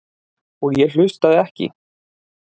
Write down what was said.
Og ég hlustaði ekki.